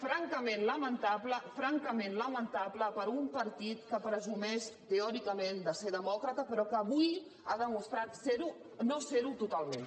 francament lamentable francament lamentable per a un partit que presumeix teòricament de ser demòcrata però que avui ha demostrat no ser ho totalment